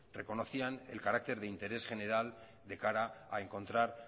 reconocían el carácter de interés general de cara a encontrar